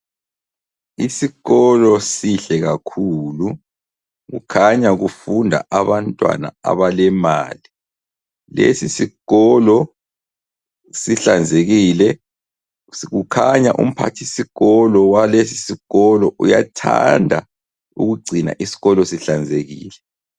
Isikolo sihle kakhulu kukhanya kufunda abantwana abalemali. Lesi sikolo sihlanzekile kukhanya umphathisikolo walesi sikolo uyathanda ukugcina isikolo sihlanzekile.